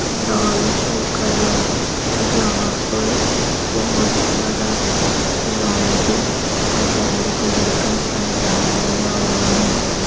Pandal show कर रहा है जहाँ पर बहोत प्यारा रेड एंड येलो कलर का पंडाल लगा हुआ है।